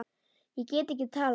Ég get ekki talað.